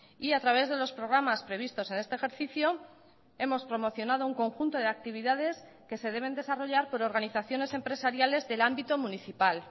y a través de los programas previstos en este ejercicio hemos promocionado un conjunto de actividades que se deben desarrollar por organizaciones empresariales del ámbito municipal